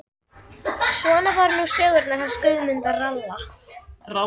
Svona voru nú sögurnar hans Guðmundar ralla.